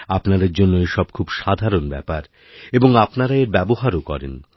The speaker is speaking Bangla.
আপনাদের জন্য এসবখুব সাধারণ ব্যাপার এবং আপনারা এর ব্যবহারও করেন